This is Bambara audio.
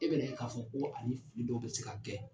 E bena ye ka fɔ ko ani fili dɔw be se ka kɛ